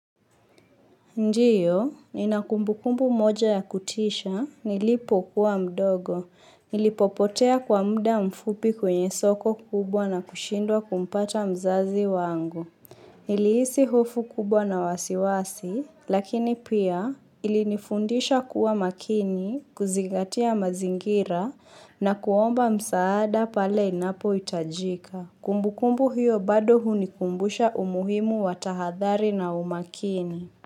Ndio, nina kumbukumbu moja ya kutisha, nilipo kuwa mdogo, nilipopotea kwa muda mfupi kwenye soko kubwa na kushindwa kumpata mzazi wangu. Nilihisi hofu kubwa na wasiwasi, lakini pia ilinifundisha kuwa makini, kuzingatia mazingira na kuomba msaada pale inapohitajika. Kumbukumbu hiyo bado hunikumbusha umuhimu wa tahadhari na umakini.